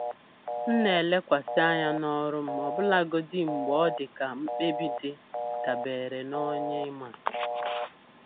M na-elekwasị anya n'ọrụ m ọbụlagodi mgbe odika mkpebi dị da beere na onye ima.